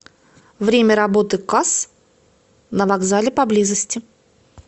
время работы касс на вокзале поблизости